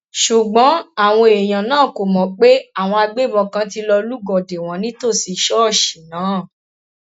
ṣùgbọn àwọn èèyàn náà kò mọ pé àwọn agbébọn kan ti lọọ lúgọ dè wọn nítòsí ṣọọṣì náà